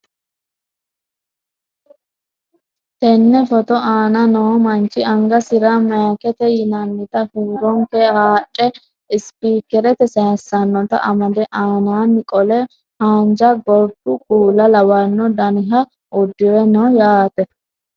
Teene footo aana noo manchi angasira mayiikete yinannita huuronke haadhe ispikerete sayiisannota amade anaani qole haanja gorddu kuula lawanno daniha uddire no yaate.